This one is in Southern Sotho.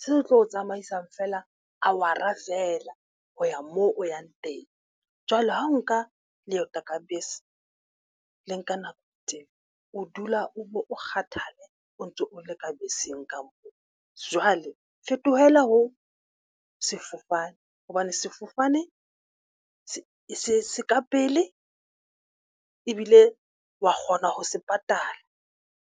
se tlo tsamaisang feela. A wara feela ho ya moo o yang teng jwale ha o nka leeto ka bese le nka nako teng, o dula o bo o kgathale, o ntso o le ka beseng kampo. Jwale fetohela ho sefofane hobane sefofane se se ka pele ebile wa kgona ho se patala.